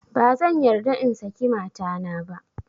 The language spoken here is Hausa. Ba zan yarda in saki matana ba